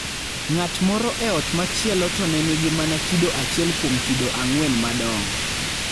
Ng'at moro e ot machielo to ne nigi mana kido achiel kuom kido 4 madongo.